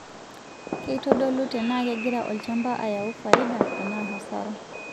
Keitodolu tenaa kegira olchampa ayau faida enaa hasara.